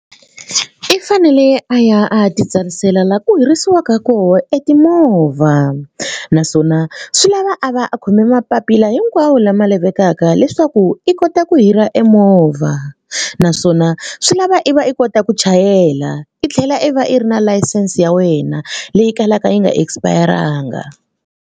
I fanele a ya a ya titsarisela laha ku hirisiwaka kona e timovha naswona swi lava a va a khome mapapila hinkwawo lama lavekaka leswaku i kota ku hira e movha naswona swi lava i va i kota ku chayela i tlhela i va i ri na layisense ya wena leyi kalaka yi nga expire-anga.